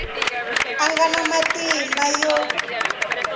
a nga na matimba yo